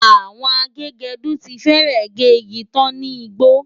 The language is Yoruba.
Àwọn agégẹdú ti fẹ́rẹ̀ gé igi tán ní gbó.